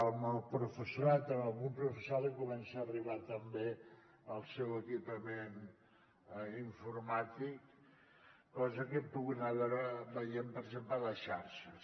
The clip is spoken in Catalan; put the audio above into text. al professorat a algun professorat li comença a arribar també el seu equipament informàtic cosa que hem pogut anar veient per exemple a les xarxes